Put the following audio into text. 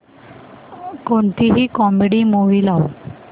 कोणतीही comedy movie लाव